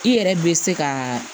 I yɛrɛ be se ka